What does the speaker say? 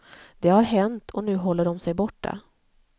Det har hänt och nu håller de sig borta.